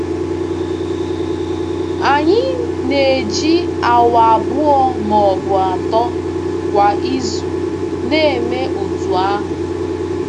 Anyị na-eji awa abụọ ma ọ bụ atọ kwa izu na-eme otú ahụ.